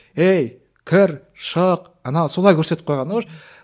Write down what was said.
ей кір шық ана солай көрсетіп қойғанда